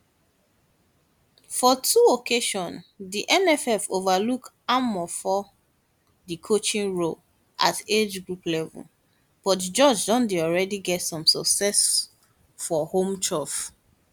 for two occasions di nff overlook amfor di coaching role at agegroup level but george don already get some success for home turf